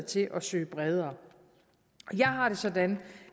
til at søge bredere jeg har det sådan